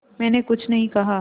मैंने कुछ नहीं कहा